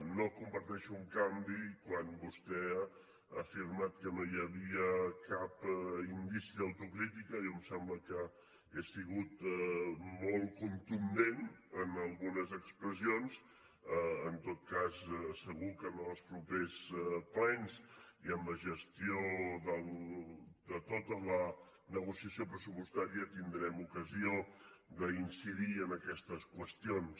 no comparteixo en canvi quan vostè ha afirmat que no hi havia cap indici d’autocrítica jo em sembla que he sigut molt contundent en algunes expressions en tot cas segur que ens als propers plens i en la gestió de tota la negociació pressupostària tindrem ocasió d’incidir en aquestes qüestions